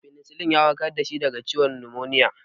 Penicillin ya warkar da shi daga ciwon numoniya.